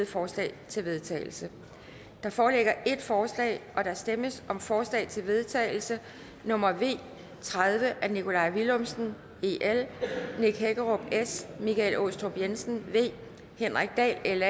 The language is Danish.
forslag til vedtagelse der foreligger et forslag der stemmes om forslag til vedtagelse nummer v tredive af nikolaj villumsen nick hækkerup michael aastrup jensen henrik dahl